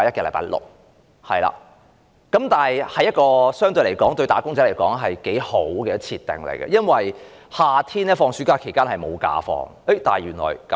相對而言，這是一個對"打工仔"很好的設定，因為夏天學生暑假期間沒有公眾假期。